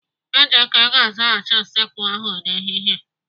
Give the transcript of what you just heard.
Ejike ga-azachasị usekwu ahụ n'ehihie.